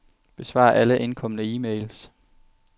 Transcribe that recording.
Besvar alle indkomne e-mails.